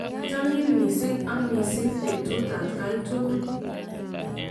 achamin mising ak mising betut atkai tugul.